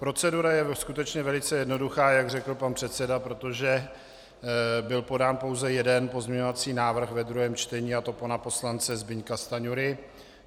Procedura je skutečně velice jednoduchá, jak řekl pan předseda, protože byl podán pouze jeden pozměňovací návrh ve druhém čtení, a to pana poslance Zbyňka Stanjury.